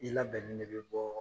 I labɛnnen de be bɔɔ